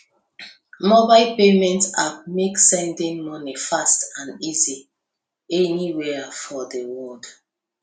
mobile payment app make sending money fast and easy anywhere for the world